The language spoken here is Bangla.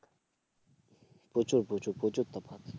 প্রচুর প্রচুর প্রচুর প্রচুর তফাৎ